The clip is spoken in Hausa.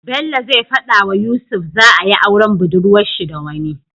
Bello zai fada wa yusuf za ayi auren budurwar shi da wani